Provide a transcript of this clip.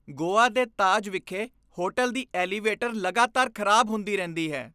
ਗੋਆ ਦੇ ਤਾਜ ਵਿਖੇ ਹੋਟਲ ਦੀ ਐਲੀਵੇਟਰ ਲਗਾਤਾਰ ਖ਼ਰਾਬ ਹੁੰਦੀ ਰਹਿੰਦੀ ਹੈ।